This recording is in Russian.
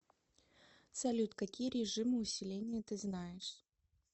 салют какие режимы усиления ты знаешь